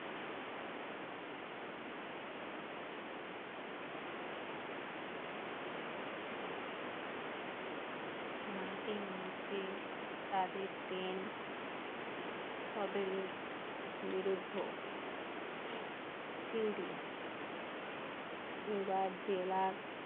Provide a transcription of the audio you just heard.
মাটির নিচে তাদের জেলা